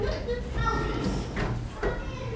LÁRUS: Það eru.